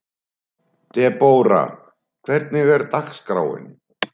Debora, hvernig er dagskráin?